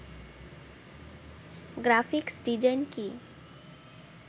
graphics design কি